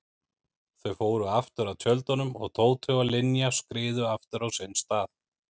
Þau fóru aftur að tjöldunum og Tóti og Linja skriðu aftur á sinn stað.